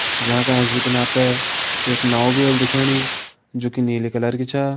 जांका ऐंच बिटिन आप तैं एक नाव भी होली दिखेणी जू की नीली कलर की छ।